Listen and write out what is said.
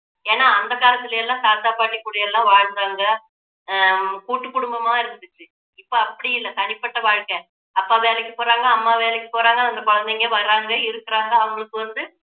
ஏன்னா அந்த காலத்துல எல்லாம் தாத்தா பாட்டி கூட எல்லாம் வாழ்ந்தாங்க ஹம் கூட்டு குடும்பமா இருந்துச்சு இப்போ அப்படி இல்ல தனிப்பட்ட வாழ்க்கை அப்பா வேலைக்கு போறாங்க அம்மா வேலைக்கு போறாங்க அந்த குழந்தைங்க வர்றாங்க இருக்குறாங்க அவங்களுக்கு வந்து